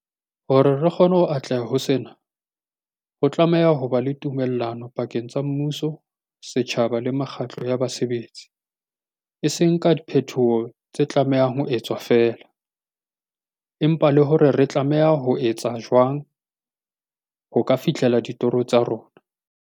Hore re kgone ho atleha ho sena, ho tlameha ho ba le tumellano pakeng tsa mmuso, setjhaba le mekgatlo ya basebetsi, e seng ka diphetoho tse tlamehang ho etswa feela, empa le hore re tlameha ho etsa jwang ho ka fihlela ditoro tsa rona.